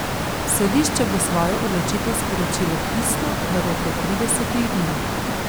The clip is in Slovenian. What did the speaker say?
Sodišče bo svojo odločitev sporočilo pisno v roku tridesetih dni.